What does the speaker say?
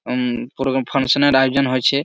হুম কোনো ফাঙসান -এর আয়োজন হয়েছে।